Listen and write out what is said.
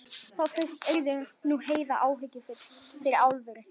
Þá fyrst yrði nú Heiða áhyggjufull fyrir alvöru.